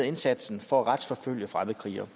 indsatsen for at retsforfølge fremmede krigere